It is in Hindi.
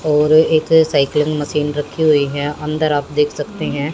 और एक साइक्लिंग मशीन रखी हुई है अंदर आप देख सकते हैं।